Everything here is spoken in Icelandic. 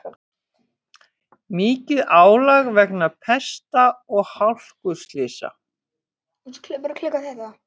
Mikið álag vegna pesta og hálkuslysa